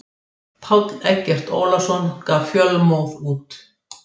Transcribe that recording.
Páll Eggert Ólason gaf Fjölmóð út.